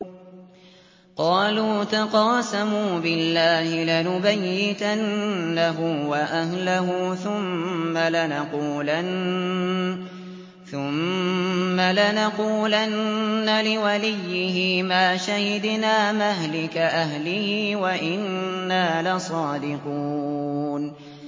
قَالُوا تَقَاسَمُوا بِاللَّهِ لَنُبَيِّتَنَّهُ وَأَهْلَهُ ثُمَّ لَنَقُولَنَّ لِوَلِيِّهِ مَا شَهِدْنَا مَهْلِكَ أَهْلِهِ وَإِنَّا لَصَادِقُونَ